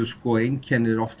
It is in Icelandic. einkenni eru oft